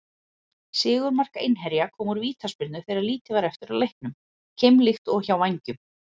Sigurmark Einherja kom úr vítaspyrnu þegar lítið var eftir af leiknum, keimlíkt og hjá Vængjum.